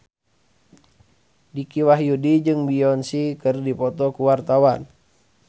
Dicky Wahyudi jeung Beyonce keur dipoto ku wartawan